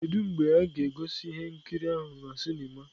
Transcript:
Kedu mgbe a ga-egosi ihe nkiri ahụ na sinima?